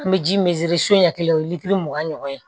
An bɛ ji min feere so ɲɛ kelen o ye litiri mugan ye